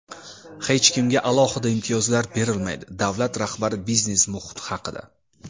"Hech kimga alohida imtiyozlar berilmaydi" — davlat rahbari biznes muhiti haqida.